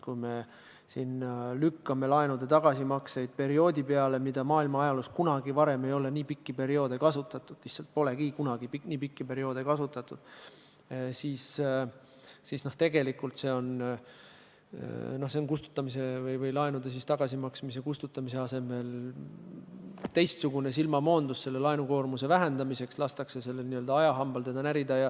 Kui me siin lükkame laenude tagasimakseid perioodi peale, mida maailma ajaloos kunagi varem ei ole kasutatud, sest nii pikki perioode polegi kunagi olnud, siis tegelikult on laenude tagasimaksmise või kustutamise asemel teistsugune silmamoondus – laenukoormuse vähendamiseks lastakse n-ö ajahambal teda närida.